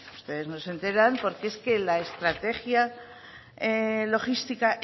ustedes no se enteran porque es que la estrategia logística